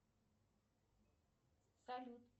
салют